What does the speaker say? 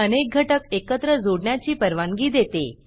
हे अनेक घटक एकत्र जोडण्याची परवानगी देते